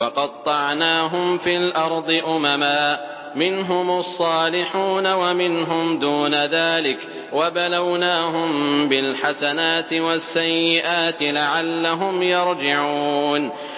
وَقَطَّعْنَاهُمْ فِي الْأَرْضِ أُمَمًا ۖ مِّنْهُمُ الصَّالِحُونَ وَمِنْهُمْ دُونَ ذَٰلِكَ ۖ وَبَلَوْنَاهُم بِالْحَسَنَاتِ وَالسَّيِّئَاتِ لَعَلَّهُمْ يَرْجِعُونَ